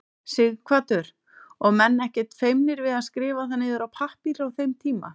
Sighvatur: Og menn ekkert feimnir við að skrifa það niður á pappír á þeim tíma?